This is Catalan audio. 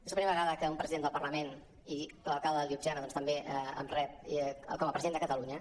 és la primera vega·da que un president del parlament i l’alcalde de ljubljana doncs també em rep com a president de catalunya